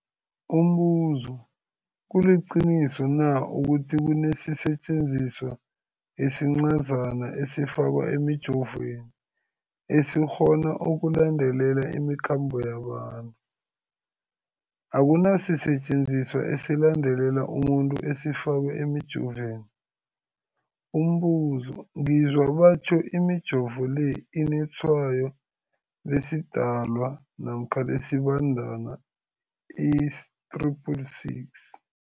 Umbuzo, kuliqiniso na ukuthi kunesisetjenziswa esincazana esifakwa emijovweni, esikghona ukulandelela imikhambo yabantu? Akuna sisetjenziswa esilandelela umuntu esifakwe emijoveni. Umbuzo, ngizwa batjho imijovo le inetshayo lesiDalwa namkha lesiBandana i-666.